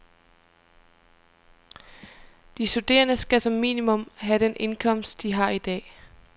De studerende skal som minimum have den indkomst, de har i dag.